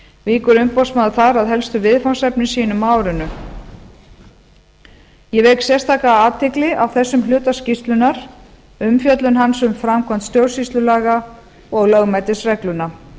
víkur umboðsmaður þar að helstu viðfangsefnum sínum á árinu ég vek sérstaka athygli á þessum hluta skýrslunnar umfjöllun hans um framkvæmd stjórnsýslulaga og lögmætisregluna